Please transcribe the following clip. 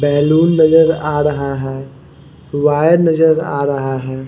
Balloon नजर आ रहा है वायर नजर आ रहा है।